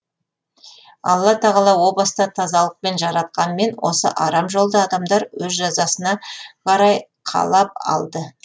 алла тағала о баста тазалықпен жаратқанмен осы арам жолды адамдар өз жазасына қарай қалап алды